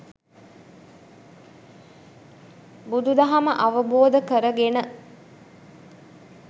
බුදු දහම අවබෝධ කරගෙන